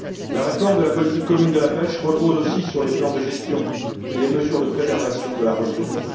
La réforme de la politique commune de la pêche repose aussi sur les plans de gestion et sur les mesures de préservation de la ressource.